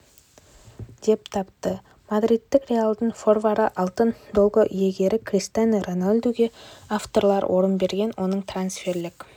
деп тапты мадридтік реалдың форварды алтын доп иегері криштиану роналдуге авторлар орын берген оның трансферлік